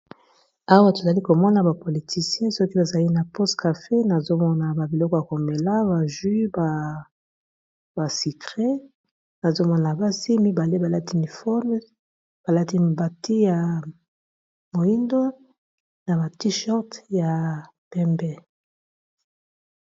Awa tozali komona bapoliticien soki bazali na poste cafe, nazomona ba biloko ya komela baju ba basukre nazomona basi mibale balati uniforme balati bati ya moindo, na bati short ya pembe.